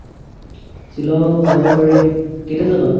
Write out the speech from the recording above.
ছিলং যাব পাৰি কেতিয়া যাবা ?